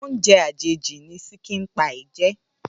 Óoùnjè àjéjí ni ṣìkín pàí jè